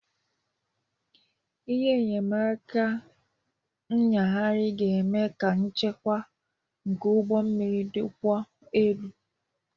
Ihe enyemaka ịnyagharị ga-eme ka nchekwa nke ụgbọ mmiri dịkwuo elu.